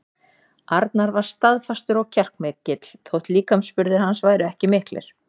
Arnar var staðfastur og kjarkmikill þótt líkamsburðir hans væru ekki miklir.